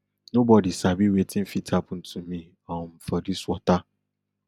nobody sabi wetin fit happen to me um for dis water